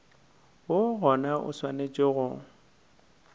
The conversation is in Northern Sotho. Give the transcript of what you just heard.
woo gona o swanetše go